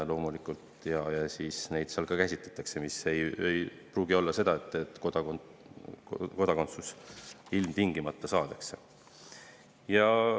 Neid käsitletakse, aga see ei pruugi tähendada seda, et kodakondsus ilmtingimata saadakse.